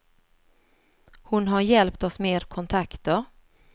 Hon har hjälpt oss med kontakter.